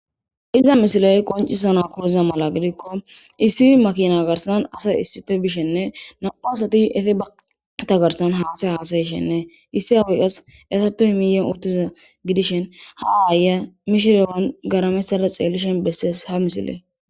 iza misiley qoncisana koiza mala gidikko issi makina garsanan asay issife bishenne na7u asati ete bata garsan haasa haasayshenne issi awi qas etappe miyon uttiza gidishin ha aaya mishirewan garamessada xeellishon besses ha misile